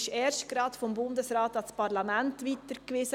Sie wurde erst gerade vom Bundesrat an das Parlament weitergewiesen.